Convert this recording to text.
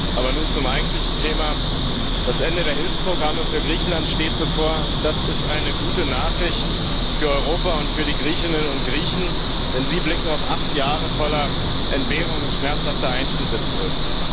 Aber nun zum eigentlichen Thema Das Ende der Hilfsprogramme für Griechenland steht bevor, und das ist eine gute Nachricht für Europa und für die Griechinnen und Griechen, denn sie blicken auf acht Jahre voller Entbehrungen und schmerzhafter Einschnitte zurück.